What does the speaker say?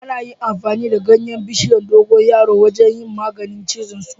Ana yin amfani da ganyen bishiyar dogon yaro wajen yin magani cizon tsoro